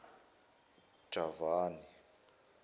javani